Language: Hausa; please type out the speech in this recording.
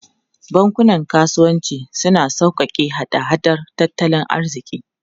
Bankunan kasuwanci suna sauƙaƙe hada-hadar tattalin arziki.